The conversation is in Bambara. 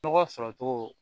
Nɔgɔ sɔrɔ cogo